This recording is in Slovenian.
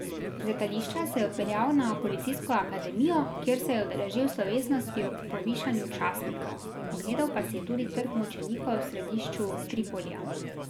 Z letališča se je odpeljal na policijsko akademijo, kjer se je udeležil slovesnosti ob povišanju častnikov, ogledal pa si je tudi Trg mučenikov v središču Tripolija.